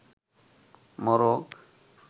মোরগ